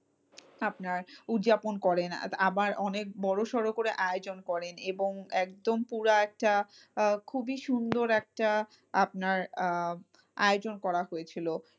আপনার উদযাপন করেন আবার অনেক বড়সড় করে আয়োজন করেন এবং একদম পুরা একটা আহ খুবই সুন্দর একটা আপনার আহ আয়োজন করা হয়েছিল।